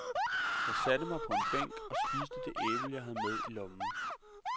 Jeg satte mig på en bænk og spiste det æble, jeg havde med i lommen.